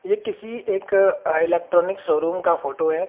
यह किसी एक इलेक्ट्रॉनिक शोरूम का फोटो है।